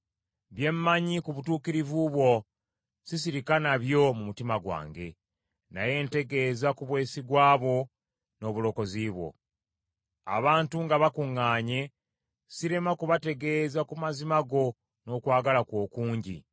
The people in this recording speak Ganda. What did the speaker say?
Bye mmanyi ku butuukirivu bwo sisirika nabyo mu mutima gwange, naye ntegeeza ku bwesigwa bwo n’obulokozi bwo. Abantu nga bakuŋŋaanye, sirema kubategeeza ku mazima go n’okwagala kwo okungi.